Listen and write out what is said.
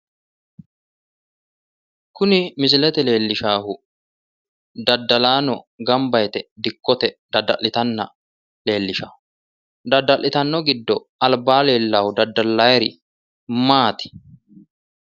Kuni misilete leelishahu dadalaano gamba yite dikkote dada'litani leelishawo. dada'litano giddo alba leelahu dadalaayiiri maati?